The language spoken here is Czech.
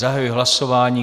Zahajuji hlasování.